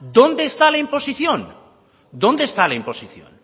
dónde está la imposición dónde está la imposición